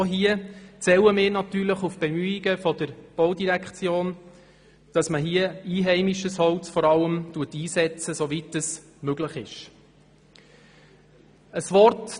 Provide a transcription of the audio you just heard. Wir zählen natürlich auf die Bemühungen der Baudirektion, vor allem einheimisches Holz einzusetzen, soweit das möglich ist.